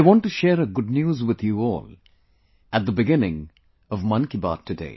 I want to share a good news with you all at the beginning of Mann ki Baat today